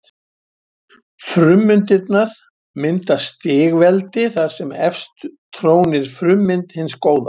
Frummyndirnar mynda stigveldi þar sem efst trónir frummynd hins góða.